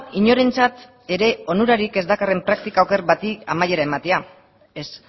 inorentzat ere onurarik ez dakarren praktika oker bati amaiera ematea ez